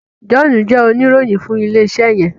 John jé Oníròyìn fún ilé iṣé yen.